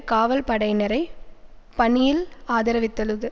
காவல் படையினரை பணியில் ஆதரவித்துள்ளது